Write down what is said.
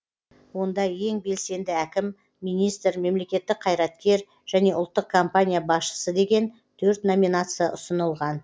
онда ең белсенді әкім министр мемлекеттік қайраткер және ұлттық компания басшысы деген төрт номинация ұсынылған